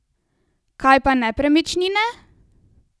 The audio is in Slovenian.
Kaj pa nepremičnine?